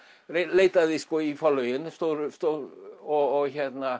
leitaði í forlögin og